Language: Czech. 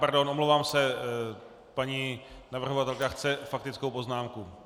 Pardon, omlouvám se, paní navrhovatelka chce faktickou poznámku.